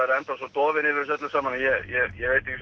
er enn þá svo dofinn yfir þessu öllu saman ég